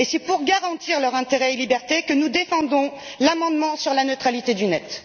Et c'est pour garantir leurs intérêts et libertés que nous défendrons l'amendement sur la neutralité du net.